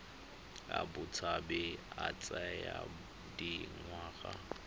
a botshabi a tsaya dingwaga